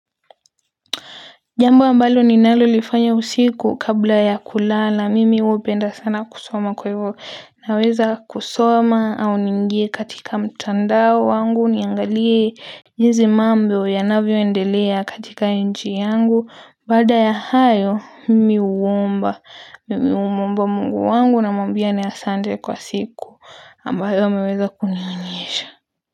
Jambu ambalo ninalolifanya usiku kabla ya kulala mimi hupenda sana kusoma kwa hivyo naweza kusoma au niingie katika mtandao wangu niangalie njisi mambo yanavyo endelea katika inchi yangu baada ya hayo mimi huomba mungu wangu na mamwambia ni asante kwa siku ambayo ameweza kuniunyesha.